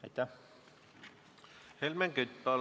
Helmen Kütt, palun!